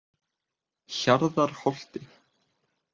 Hjarðarholti